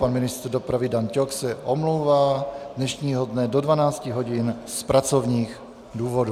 Pan ministr dopravy Dan Ťok se omlouvá dnešního dne do 12.00 hodin z pracovních důvodů.